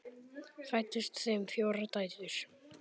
Fæddust þeim fjórar dætur.